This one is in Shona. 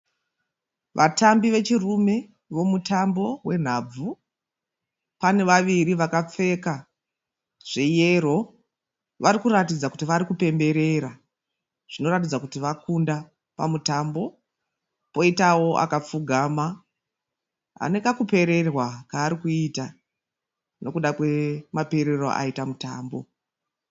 Vatambi vechirume vomutambo wenhabvu. Pane vaviri vakapfeka zveyero vari kuratidza kuti vari kupemberera. Zvinoratidza kuti vakunda pamutambo. Poitawo akapfugama ane kakupererwa kaari kuita nokuda kwemaperero aita mutambo.